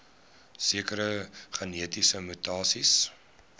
sekere genetiese mutasies